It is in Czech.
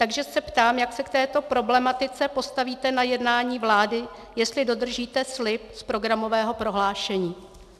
Takže se ptám, jak se k této problematice postavíte na jednání vlády, jestli dodržíte slib z programového prohlášení.